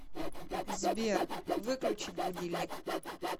сбер выключить будильник